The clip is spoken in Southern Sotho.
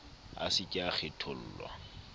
a se ke a kgethollwa